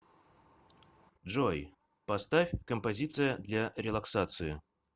джой поставь композиция для релаксации